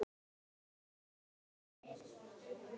Ég eða þú?